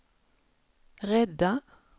rädda